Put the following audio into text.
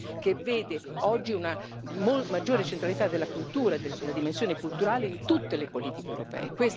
che vede oggi una maggiore centralità della cultura e della dimensione culturale in tutte le politiche europee.